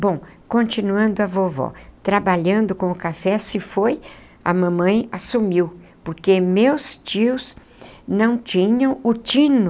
Bom, continuando a vovó, trabalhando com o café, se foi, a mamãe assumiu, porque meus tios não tinham o tino.